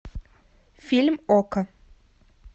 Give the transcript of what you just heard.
фильм окко